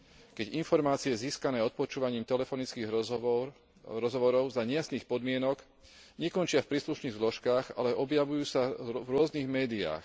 Keď informácie získané odpočúvaním telefonických rozhovorov za nejasných podmienok nekončia v príslušných zložkách, ale objavujú sa v rôznych médiách.